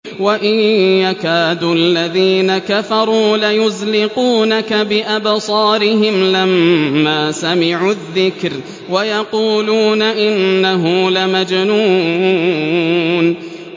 وَإِن يَكَادُ الَّذِينَ كَفَرُوا لَيُزْلِقُونَكَ بِأَبْصَارِهِمْ لَمَّا سَمِعُوا الذِّكْرَ وَيَقُولُونَ إِنَّهُ لَمَجْنُونٌ